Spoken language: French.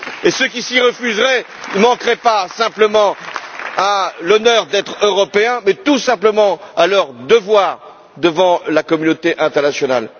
Ceux qui s'y refuseraient ne manqueraient pas simplement à l'honneur d'être Européens mais tout simplement à leur devoir devant la communauté internationale.